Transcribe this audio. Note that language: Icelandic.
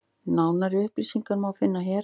Nánari upplýsingar má finna hér.